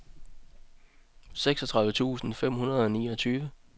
seksogtredive tusind fem hundrede og niogtyve